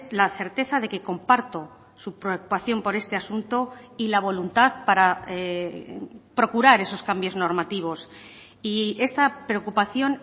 la certeza de que comparto su preocupación por este asunto y la voluntad para procurar esos cambios normativos y esta preocupación